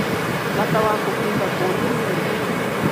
Bata wa kũhinga kũndũ nĩ ũrĩkũ?